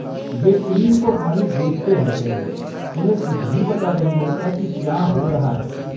वे screen को ख़ाली देखते रहते हैं, उन्हें कुछ भी पता नहीं होता कि क्या हो रहा है।